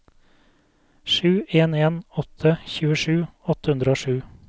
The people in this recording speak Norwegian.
sju en en åtte tjuesju åtte hundre og sju